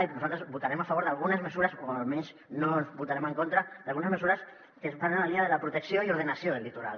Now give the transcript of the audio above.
i nosaltres votarem a favor o almenys no votarem en contra d’algunes mesures que van en la línia de la protecció i ordenació del litoral